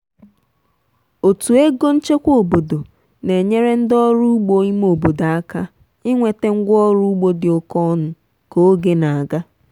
otu ego nchekwa obodo na-enyere ndị ọrụ ugbo ime obodo aka inweta ngwaọrụ ugbo dị oke ọnụ ka oge na-aga.